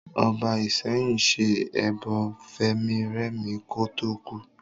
Ọba Ìsẹ́yìn ṣe ẹbọ fẹ̀mírẹ̀mí kò tó kú